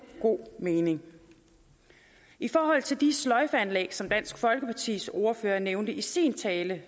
god mening i forhold til de sløjfeanlæg som dansk folkepartis ordfører nævnte i sin tale